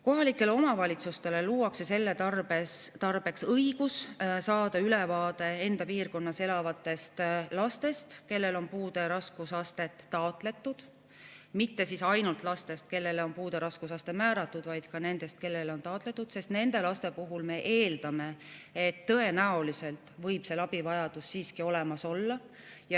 Kohalikele omavalitsustele luuakse selle tarbeks õigus saada ülevaade enda piirkonnas elavatest lastest, kellele on puude raskusastet taotletud, mitte siis ainult lastest, kellele on puude raskusaste määratud, vaid ka nendest, kellele on seda taotletud, sest nende laste puhul me eeldame, et tõenäoliselt võib abivajadus siiski olemas olla.